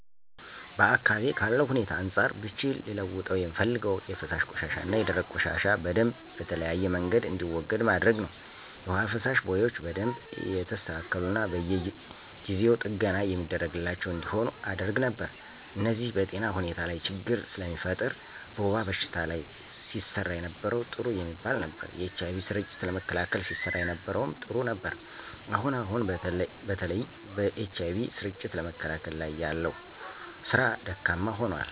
በአካባቢዬ ካለው ሁኔታ አንፃር ብችል ልለውጠው የምፈልገው የፈሳሽ ቆሻሻና የደረቅ ቆሻሻ በደምብ በተለያየ መንገድ እንዲወገድ ማድረግ ነው። የውሃ መፋሰሻ ቦዮች በደንብ የተስተካሉና በየጊው ጥገና የሚደረግላቸው እንዲሆኑ አደረግ ነበር። እነዚህ በጤና ሁኔታ ላች ችግር ስለሚፈጥር። በወባ በሽታ ላይ ሲሰራ የነበረው ጥሩ የሚባል ነበር። የኤች አይ ቪ ስርጭትን ለመከላከል ሲሰራ የነበረው ጥሩ ነበር። አሁን አሁን በተለይ በኤች አይ ቪ ስርጭትን ለመከላከል ላይ ያለው ስራ ካም ሆኖል።